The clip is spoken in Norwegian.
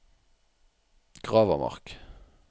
Gravermark